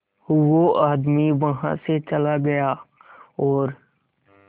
वो आदमी वहां से चला गया और